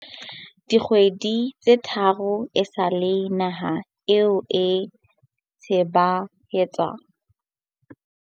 Dikgwedi tse tharo esale naha eo e tsebahatsa hore ha e sa na kokwanahloko ya corona, New Zealand e boetse e hlasetswe ke ho kginwa ha ditshebeletso hape.